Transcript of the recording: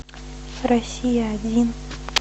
россия один